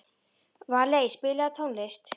Valey, spilaðu tónlist.